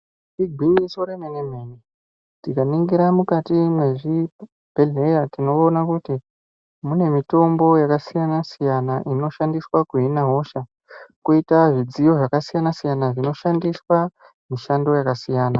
Igwinyiso remene-mene tikaningira mukati mwezvibhehleya tinoona kuti mune mitombo yakasiyana-siyana inoshandiswa kuhina hosha. Koita zvidziyo zvakasiyana-siyana zvinoshandiswa mishando yakasiyana.